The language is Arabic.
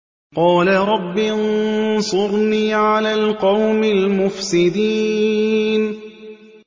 قَالَ رَبِّ انصُرْنِي عَلَى الْقَوْمِ الْمُفْسِدِينَ